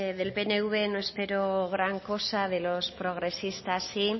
del pnv no espero gran cosa de los progresistas sí